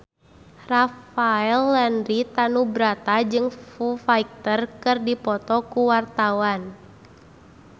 Rafael Landry Tanubrata jeung Foo Fighter keur dipoto ku wartawan